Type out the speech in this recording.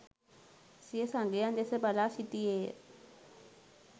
සිය සගයන් දෙස බලා සිටියේය